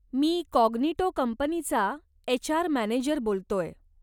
मी Cognito कंपनीचा HR manager बोलतोय.